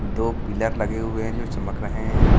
दो पिलर लगे हुए हैं जो चमक रहे हैं।